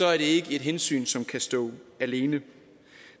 er det ikke et hensyn som kan stå alene